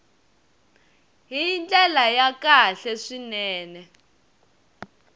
hi ndlela ya kahle swinene